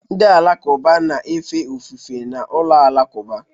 Ndị Alakụba na-efe ofufe na ụlọ alakụba